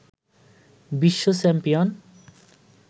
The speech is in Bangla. বিশ্ব চ্যাম্পিয়ন